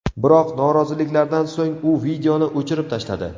Biroq noroziliklardan so‘ng u videoni o‘chirib tashladi.